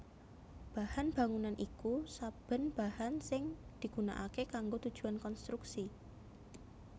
Bahan bangunan iku saben bahan sing digunakaké kanggo tujuan konstruksi